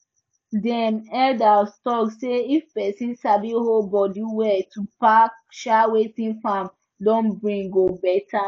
dem elders talk say if person sabi hold body well to pack um wetin farm don bring go better